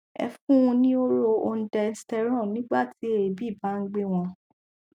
ẹ fún un ní hóró ondensetron nígbà tí èébì bá nh gbé wọn